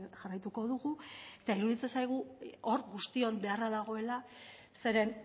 jarraituko dugu eta iruditzen zaigu hor guztion beharra dagoela zeren